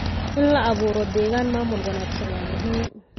In la abuuro deegaan maamul wanaag waa muhiim.